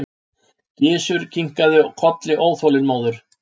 Gizur kinkaði kolli óþolinmóður.